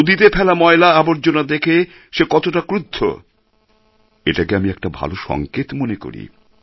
নদীতে ফেলা ময়লা আবর্জনা দেখে সে কতটা ক্রুদ্ধ এটাকে আমি একটা ভালো সংকেত মনে করি